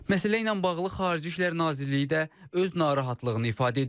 Məsələ ilə bağlı Xarici İşlər Nazirliyi də öz narahatlığını ifadə edib.